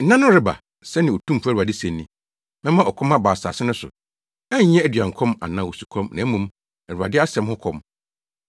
“Nna no reba” sɛnea Otumfo Awurade se ni, “Mɛma ɔkɔm aba asase no so, ɛnyɛ aduankɔm anaa osukɔm, na mmom, Awurade asɛm ho kɔm.